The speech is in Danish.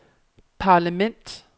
parlament